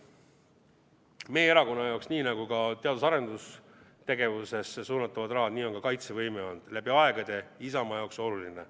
Meie erakonna jaoks, nii nagu ka teadus- ja arendustegevusse suunatavad rahad, nii on ka kaitsevõime olnud läbi aegade Isamaa jaoks oluline.